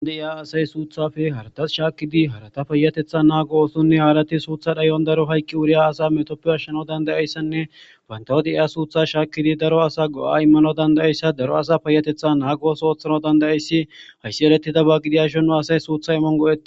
Andeya asay suuthafe haratas shaakkidi harata payatetha naa gooosonne haarati suutha dhayon daro hayqqi wuriya asa metoppe ashshano dandayayssanne bayntawo deiya suutha shaakkidi daro asa go'a immano dandayayssa daro asa paayatetha naa gooso ooththano dandayayssi hayssi eretida ba gidiya shonnu asay suutha imon go'i.